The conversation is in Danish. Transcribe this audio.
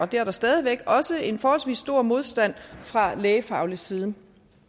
der er stadig væk også en forholdsvis stor modstand fra lægefaglig side